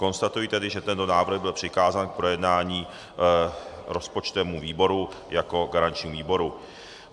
Konstatuji tedy, že tento návrh byl přikázán k projednání rozpočtovému výboru jako garančnímu výboru.